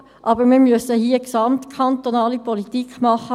Aber wir müssen hier eine gesamtkantonale Politik machen.